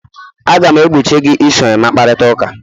Aga m egbochi gị iso Emma kparịta ụka!